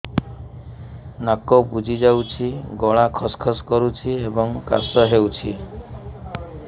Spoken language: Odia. ନାକ ବୁଜି ଯାଉଛି ଗଳା ଖସ ଖସ କରୁଛି ଏବଂ କାଶ ହେଉଛି